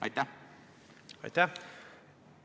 Aitäh!